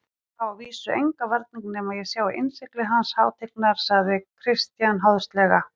Ég vísa á engan varning nema ég sjái innsigli hans hátignar, sagði Christian háðslega.